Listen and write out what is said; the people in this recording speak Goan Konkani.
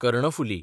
कर्णफुली